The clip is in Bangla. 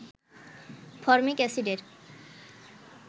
ফরমিক এসিডের